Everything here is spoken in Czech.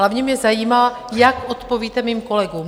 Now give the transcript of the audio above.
Hlavně mě zajímá, jak odpovíte mým kolegům.